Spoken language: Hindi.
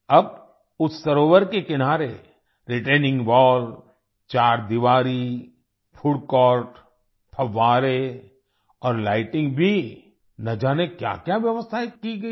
अब उस सरोवर के किनारे रिटेनिंग वॉल चारदीवारी फूड कोर्ट फव्वारे और लाइटनिंग भी न जाने क्याक्या व्यवस्थायें की गयी है